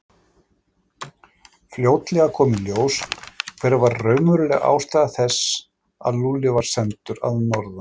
Fljótlega kom í ljós hver var raunveruleg ástæða þess að Lúlli var sendur að norðan.